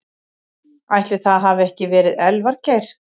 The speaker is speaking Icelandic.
Ætli það hafi ekki verið Elvar Geir.